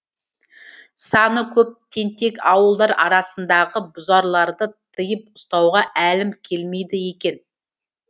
саны көп тентек ауылдар арасындағы бүзарларды тыйып ұстауға әлім келмейді екен